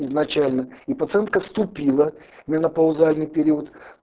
изначально и пациентка вступила в менопаузальный период